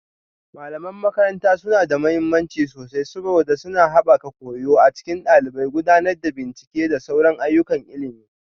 Malaman makaranta suna da mahimmanci sosai saboda suna haɓaka koyo a cikin ɗalibai, gudanar da bincike da sauran ayyukan ilimi